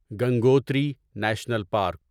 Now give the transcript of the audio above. Gangotri National park